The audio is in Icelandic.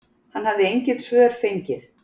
Hann hafi engin svör fengið.